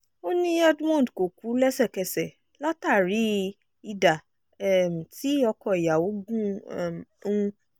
ó ní edmund kò kú lẹ́sẹ̀kẹsẹ̀ látàrí ìdá um tí ọkọ ìyàwó gún um un